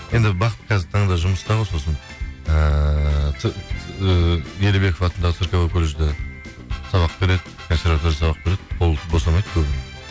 енді бақыт қазіргі таңда жұмыста ғой сосын ыыы ыыы елебеков атындағы цирковой колледжде сабақ береді консерваторияда сабақ береді қолы босамайды көбіне